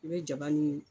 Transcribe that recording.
I bɛ jaba nin